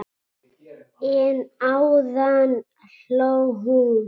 En áðan hló hún.